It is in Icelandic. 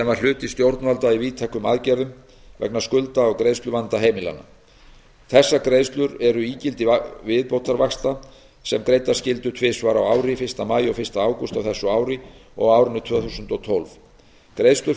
var hluti stjórnvalda í víðtækum aðgerðum vegna skulda og greiðsluvanda heimilanna þessar greiðslur eru ígildi viðbótarvaxtabóta sem greiddar skyldu tvisvar á ári fyrsta maí og fyrsta ágúst á þessu ári og á árinu tvö þúsund og tólf greiðslur